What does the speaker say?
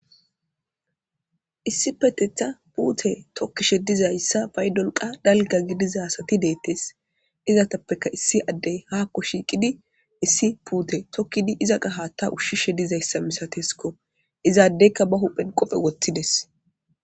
Issi petetha puute tokkishe dizayssa paydolqa dalga gidizasati deettes izatappeka issi addey haakko shiiqidi issi puute tokkidi iza qa haatta ushshishe dizayssa misateskko izaaddeyka ba huphen qophe woththides